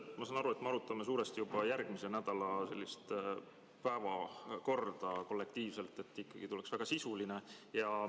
Ma saan aru, et me arutame kollektiivselt juba järgmise nädala päevakorda, et see ikkagi tuleks väga sisuline.